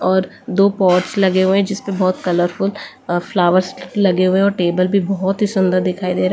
और दो पॉट्स लगे हुए हैं जिस परे बहुत कलरफुल फ्लावर्स लगे हुए हैं और टेबल भी बहुत ही सुंदर दिखाई दे रहा --